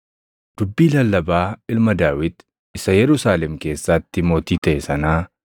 Dubbii lallabaa ilma Daawit, isa Yerusaalem keessaatti mootii taʼe sanaa: